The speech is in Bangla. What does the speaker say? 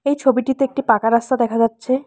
এই ছবিটিতে একটি পাকা রাস্তা দেখা যাচ্ছে।